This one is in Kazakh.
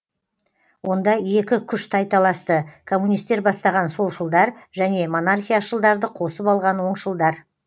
онда екі күш тайталасты коммунистер бастаған солшылдар және монархияшылдарды қосып алған оңшылдар